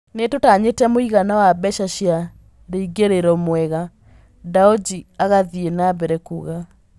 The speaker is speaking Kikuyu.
Nĩ tũtanyĩte mũigana wa mbeca cia rĩingĩrĩro mwega, " Ndaoji agathiĩ nambere kuuga.